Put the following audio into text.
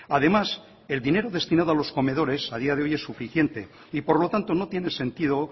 además el dinero destinado a los comedores a día de hoy es suficiente y por lo tanto no tiene sentido